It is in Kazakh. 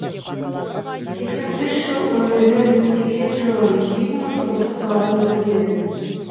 сексен үш жыл өмірінің сексен жылын зигмунд осы қалада өткізеді